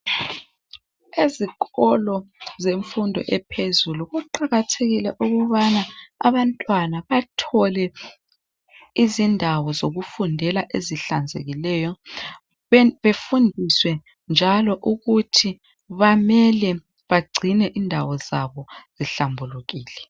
Ezikolo zemfundo ephezulu kuqakathekile ukubana abantwana bathole izindawo zokufundela ezihlanzekileyo befundiswe njalo ukuthi bamele bagcine indawo zabo zihlambulukile.